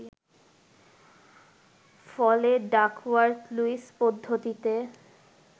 ফলে ডাকওয়ার্থ-লুইস পদ্ধতিতে